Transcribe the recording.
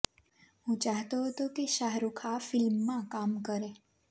હું ચાહતો હતો કે શાહરુખ આ ફિલ્મમાં કામ કરે